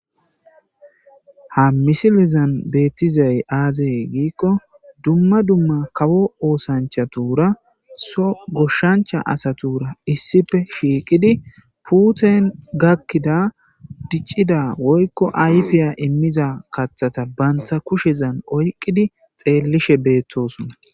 ha misilizan beettizay aazey giikko dumma dumma kawo oosanchatura so goshshancha asatuura issipe shiiqidi puuten gakkida diccida woykko aypiya immiza kathata bantha kushezan oyqqidi xeellishe beettosona.